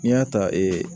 N'i y'a ta